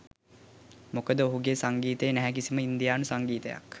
මොකද ඔහුගේ සංගීතයේ නැහැ කිසිම ඉන්දියානු සංගීතයක්.